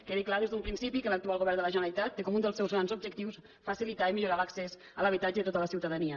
quedi clar des d’un principi que l’actual govern de la generalitat té com un dels seus grans objectius facilitar i millorar l’accés a l’habitatge de tota la ciutadania